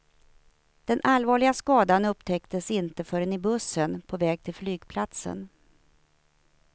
Den allvarliga skadan upptäcktes inte förrän i bussen på väg till flygplatsen.